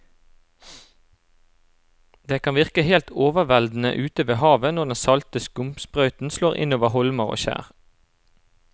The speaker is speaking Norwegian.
Det kan virke helt overveldende ute ved havet når den salte skumsprøyten slår innover holmer og skjær.